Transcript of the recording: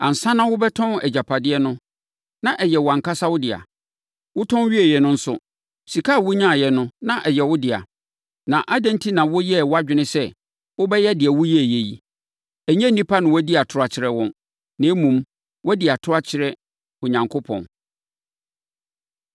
Ansa na worebɛtɔn agyapadeɛ no na ɛyɛ wʼankasa wo dea; wotɔn wieeɛ no nso, sika a wonyaeɛ no, na ɛyɛ wo dea; na adɛn enti na woyɛɛ wʼadwene sɛ wobɛyɛ deɛ woayɛ yi? Ɛnyɛ nnipa na woadi atorɔ akyerɛ wɔn, na mmom, woadi atorɔ akyerɛ Onyankopɔn.”